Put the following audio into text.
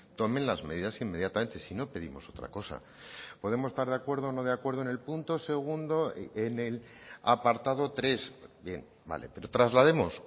tomen las medidas inmediatamente si no pedimos otra cosa podemos estar de acuerdo o no de acuerdo en el punto segundo en el apartado tres bien vale pero traslademos